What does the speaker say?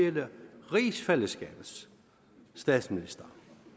hele rigsfællesskabets statsminister